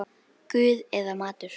Guð eða maður?